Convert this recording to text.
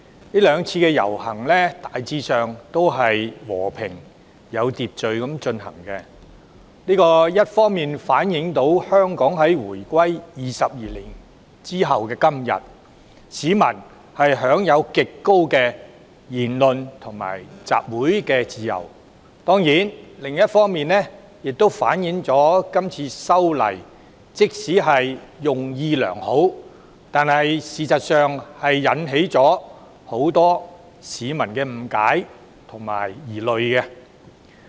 這兩次遊行大致和平、有秩序地進行，一方面反映香港回歸22年後的今天，市民享有極高的言論及集會自由；當然，另一方面亦反映這次修例即使出於好意，但實際上確令很多市民產生誤解及疑慮。